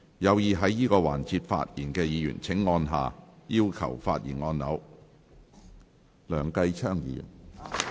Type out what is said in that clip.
有意在這個環節發言的議員請按下"要求發言"按鈕。